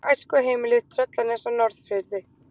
Æskuheimilið Tröllanes á Norðfirði.